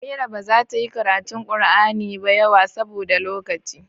Amira ba zata yi karatu Kur'ani ba yawa saboda lokaci